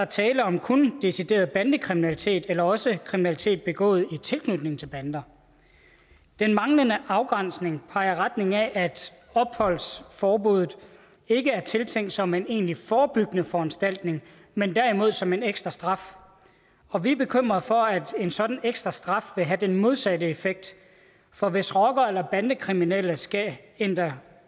tale om decideret bandekriminalitet eller også kriminalitet begået i tilknytning til bander den manglende afgrænsning peger i retning af at opholdsforbuddet ikke er tiltænkt som en egentlig forebyggende foranstaltning men derimod som en ekstra straf og vi er bekymrede for at en sådan ekstra straf vil have den modsatte effekt for hvis rocker eller bandekriminelle skal ændre